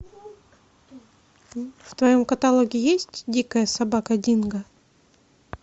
в твоем каталоге есть дикая собака динго